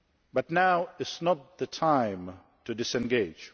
But now is not the time to disengage.